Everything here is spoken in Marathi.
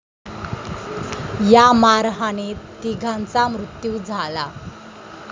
या मारहाणीत तिघांचा मृत्यु झाला.